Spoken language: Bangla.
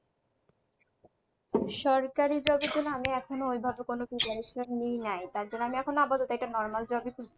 সরকারি job এর জন্য আমি এখনো ওই ভাবে preparation নিই নাই। তার পর আপাতত একটা normal job ই খুঁজছি।